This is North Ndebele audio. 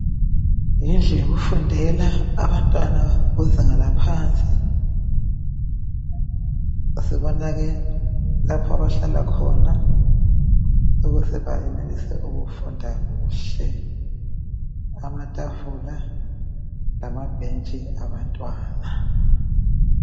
yindlu yokufundela abantwana kuzinga laphansi lapho abahlala khona ukuze bayenelise ukufunda kuhle amatafula lamabhentshi abantwana